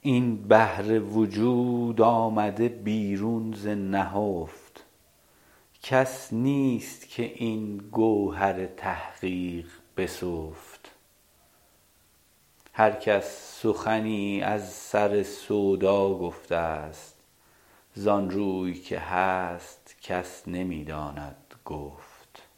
این بحر وجود آمده بیرون ز نهفت کس نیست که این گوهر تحقیق بسفت هر کس سخنی از سر سودا گفته است زان روی که هست کس نمی داند گفت